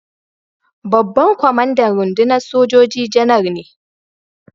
Babban kwamandan rundunar sojoji Janar ne.